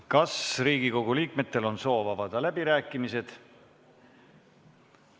Kas Riigikogu liikmetel on soovi avada läbirääkimisi?